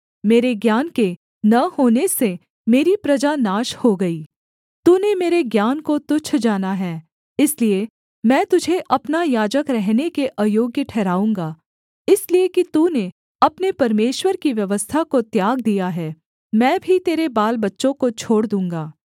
मेरे ज्ञान के न होने से मेरी प्रजा नाश हो गई तूने मेरे ज्ञान को तुच्छ जाना है इसलिए मैं तुझे अपना याजक रहने के अयोग्‍य ठहराऊँगा इसलिए कि तूने अपने परमेश्वर की व्यवस्था को त्याग दिया है मैं भी तेरे बालबच्चों को छोड़ दूँगा